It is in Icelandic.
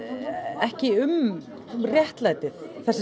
ekki um réttlætið